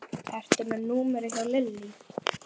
Íbúana muni um það.